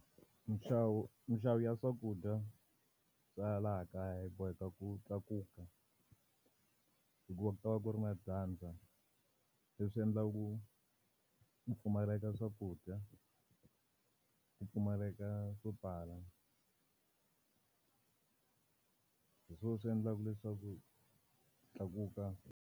Minxavo minxavo ya swakudya swa ya laha kaya hi boheka ku tlakuka, hikuva ku ta va ku ri na dyandza. Leswi endlaka ku ku pfumaleka ka swakudya, ku pfumaleka swo tala. Hi swona swi endlaka leswaku tlakuka.